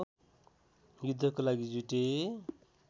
युद्धको लागि जुटे